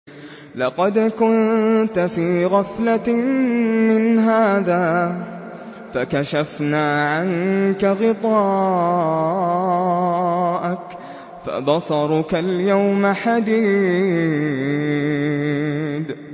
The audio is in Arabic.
لَّقَدْ كُنتَ فِي غَفْلَةٍ مِّنْ هَٰذَا فَكَشَفْنَا عَنكَ غِطَاءَكَ فَبَصَرُكَ الْيَوْمَ حَدِيدٌ